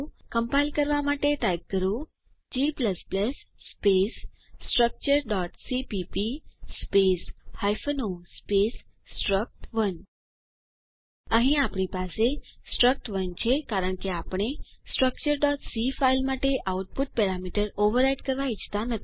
compile કરવા માટે type કરો g સ્પેસ structureસીપીપી સ્પેસ o સ્પેસ સ્ટ્રક્ટ1 અહીં આપણી પાસે સ્ટ્રક્ટ1 છે કારણ કે આપણે structureસી ફાઈલ માટે આઉટપુટ પેરામિટર ઓવરરાઇટ કરવા ઈચ્છતા નથી